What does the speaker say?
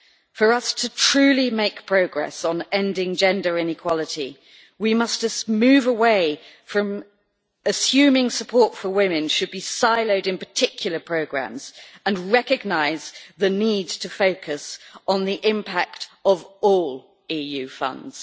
For us to truly make progress on ending gender inequality we must move away from assuming support for women should be siloed in particular programmes and recognise the need to focus on the impact of all EU funds.